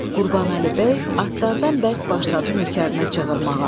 Qurbanəli bəy atlardan bərk başladı nökərinə çığırmağa.